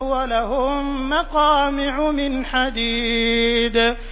وَلَهُم مَّقَامِعُ مِنْ حَدِيدٍ